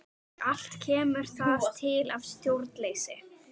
Og allt kemur það til af stjórnleysi.